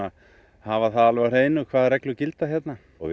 hafa það alveg á hreinu hvaða reglur gilda hérna við